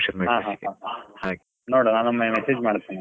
ಹಾ ಹಾ ಹಾ, ನೋಡುವಾ ನಾನೊಮ್ಮೆ message ಮಾಡ್ತೇನೆ.